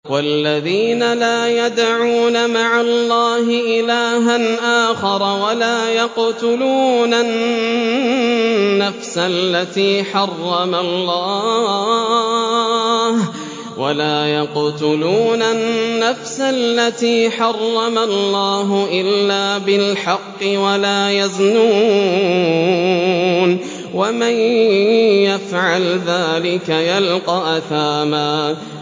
وَالَّذِينَ لَا يَدْعُونَ مَعَ اللَّهِ إِلَٰهًا آخَرَ وَلَا يَقْتُلُونَ النَّفْسَ الَّتِي حَرَّمَ اللَّهُ إِلَّا بِالْحَقِّ وَلَا يَزْنُونَ ۚ وَمَن يَفْعَلْ ذَٰلِكَ يَلْقَ أَثَامًا